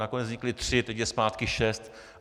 Nakonec vznikly tři, teď je zpátky šest.